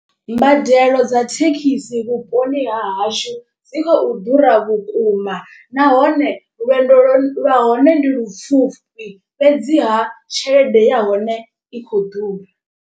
Mbadelo dza thekhisi vhuponi ha hashu dzi khou ḓura vhukuma. Nahone lwendo lwa hone ndi lupfufhi fhedziha tshelede ya hone i khou ḓura.